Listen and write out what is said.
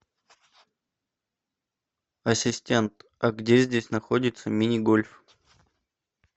ассистент а где здесь находится мини гольф